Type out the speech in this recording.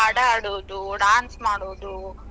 ಹಾಡಾ ಹಾಡೋದು dance ಮಾಡೋದು.